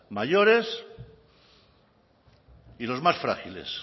mayores y los más frágiles